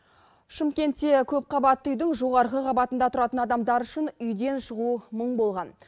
шымкентте көпқабатты үйдің жоғарғы қабатында тұратын адамдар үшін үйден шығу мұң болған